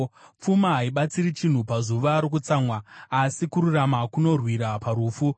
Pfuma haibatsiri chinhu pazuva rokutsamwa, asi kururama kunorwira parufu.